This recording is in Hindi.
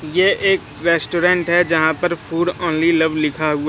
ये एक रेस्टोरेंट है जहां पर फूड ऑनली लव लिखा हु--